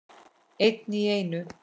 Einn í einu.